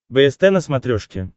бст на смотрешке